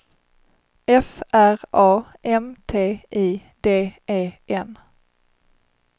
F R A M T I D E N